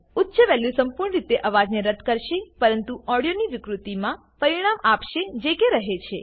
ઉચ્ચ વેલ્યુ સંપૂર્ણ રીતે અવાજને રદ્દ કરશે પરંતુ ઓડિયોની વિકૃતિમાં પરિણામ આપશે જે કે રહે છે